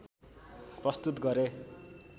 प्रस्तुत गरे